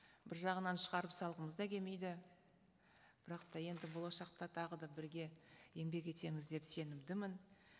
бір жағынан шығарып салғымыз да келмейді бірақ та енді болашақта тағы да бірге еңбек етеміз деп сенімдімін